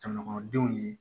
Jamanadenw ye